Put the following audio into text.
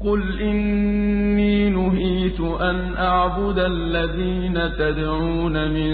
۞ قُلْ إِنِّي نُهِيتُ أَنْ أَعْبُدَ الَّذِينَ تَدْعُونَ مِن